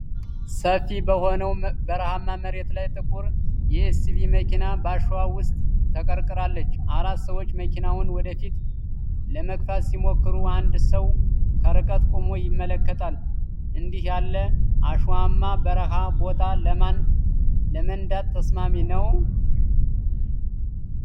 ሰፊ በሆነው በረሃማ መሬት ላይ፣ ጥቁር ኤስዩቪ መኪና በአሸዋ ውስጥ ተቀርቅራለች። አራት ሰዎች መኪናውን ወደፊት ለመግፋት ሲሞክሩ፣ አንድ ሰው ከርቀት ቆሞ ይመለከታል። እንዲህ ያለ አሸዋማ በረሃማ ቦታ ለመንዳት ተስማሚ ነው?